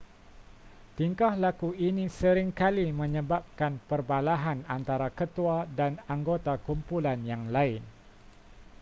tingkah laku ini sering kali menyebabkan perbalahan antara ketua dan anggota kumpulan yang lain